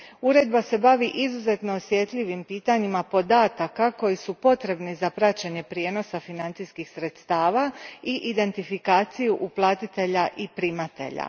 Uredba se bavi izuzetno osjetljivim pitanjima podataka koji su potrebni za praćenje prijenosa financijskih sredstava i identifikaciju uplatitelja i primatelja.